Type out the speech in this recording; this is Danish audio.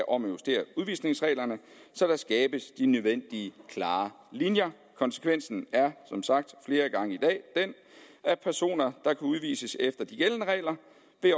om at justere udvisningsreglerne så der skabes de nødvendige klare linjer konsekvensen er som sagt flere gange i dag den at personer der kan udvises efter de gældende regler